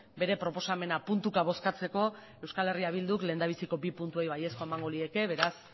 bere proposamena puntuka bozkatzeko euskal herria bilduk lehendabiziko bi puntuei baiezkoa emango lieke beraz